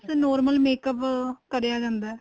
ਬੱਸ normal makeup ਕਰਿਆ ਜਾਂਦਾ ਏ